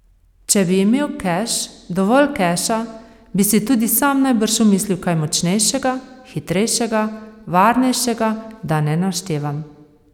Če bi imel keš, dovolj keša, bi si tudi sam najbrž omislil kaj močnejšega, hitrejšega, varnejšega, da ne naštevam.